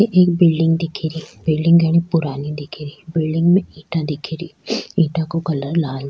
ये एक बिलडिंग दिखे री बिलडिंग घडी पुरानी दिखे री बिलडिंग में इट्टा दिखे री इट्टो को कलर लाल --